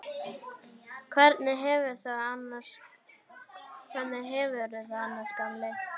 Hvernig hefurðu það annars, gamli?